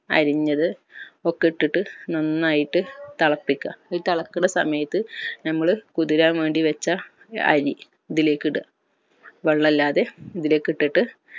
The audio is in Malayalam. അരിഞ്ഞത് ഒക്കെ ഇട്ടിട്ട് നന്നായിട്ട് തള്ളപിക്ക ഇത് തെളക്കുന്ന സമയത് നമ്മൾ കുതിരാൻ വേണ്ടി വെച്ച അരി ഇതിലേക് ഇട വെള്ളല്ലാതെ ഇതിലേക് ഇട്ടിട്ട്